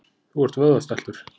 Þú ert vöðvastæltur.